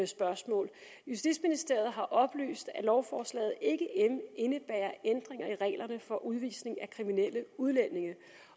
spørgsmål justitsministeriet har oplyst at lovforslaget ikke indebærer ændringer i reglerne for udvisning af kriminelle udlændinge